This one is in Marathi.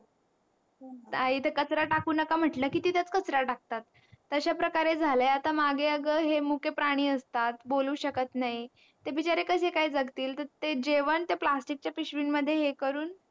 आणि इथे कचरा टाकू नका म्हटलं कि तिथेच कचरा टाकतात अश्या प्रकारे झाले आता मागे अगं हे मुके प्राणी असतात बोलू शकत नाही ते बिचारे कसे काय जगतील ते जेव्हा त्या plastic च्या पिशवी मध्ये हे करून